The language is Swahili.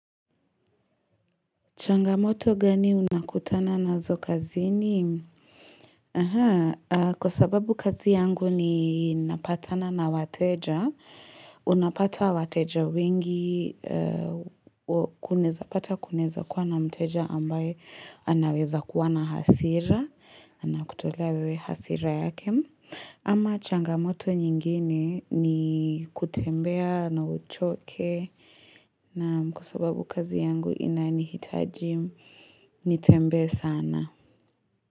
Changamoto gani unakutana nazo kazini? Kwa sababu kazi yangu ninapatana na wateja. Unapata wateja wengi, kunaeza pata kunaeza kuwa na mteja ambaye anaweza kuwa na hasira. Na kutolea wewe hasira yake. Ama changamoto nyingine ni kutembea na uchoke. Na ni kwa sababu babu kazi yangu inanihitaji nitembee sana.